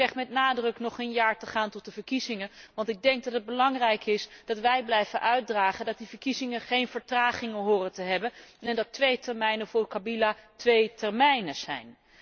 Ik zeg met nadruk nog een jaar te gaan tot de verkiezingen, want ik denk dat het belangrijk is dat wij blijven uitdragen dat die verkiezingen geen vertragingen horen te hebben en dat twee termijnen voor Kabila twee termijnen zijn.